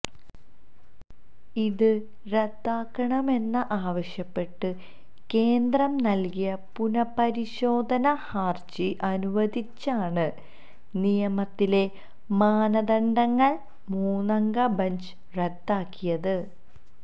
ഇത് റദ്ദാക്കണമെന്ന് ആവശ്യപ്പെട്ട് കേന്ദ്രം നല്കിയ പുനപ്പരിശോധനാ ഹരജി അനുവദിച്ചാണ് നിയമത്തിലെ മാനദണ്ഡങ്ങള് മുന്നംഗ ബഞ്ച് റദ്ദാക്കിയത്